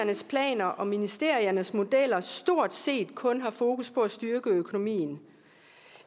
planer og ministeriets modeller stort set kun har fokus på at styrke økonomien